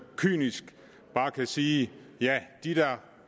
kynisk bare kan sige ja de der